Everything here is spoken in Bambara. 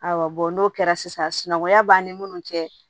Awɔ n'o kɛra sisan sinankunya b'an ni munnu cɛ